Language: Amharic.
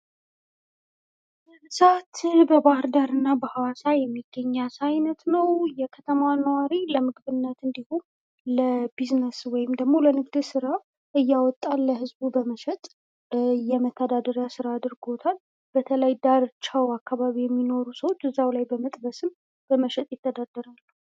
ብዛት በባህርዳር እና በሐዋሳ የሚገኝ የአሳ አይነት ነው እና የከተማዋ ነዋሪ ለምግብነት እንዲሁም ለቢዝነስ ወይም ለንግድ ሥራ እያወጣ ለህዝቡ በመሸጥ የመተዳደሪያ ሥራ አድርጎታል:: በተለይ ዳርቻው አካባቢ የሚኖሩ ሰዎች እዛው ላይ በመጥበስም በመሸጥ ይተዳደራሉ::